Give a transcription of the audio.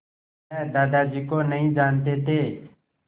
वह दादाजी को नहीं जानते थे